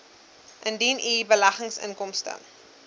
indien u beleggingsinkomste